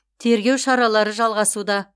тергеу шаралары жалғасуда